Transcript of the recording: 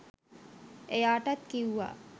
එයාටත් කිව්වා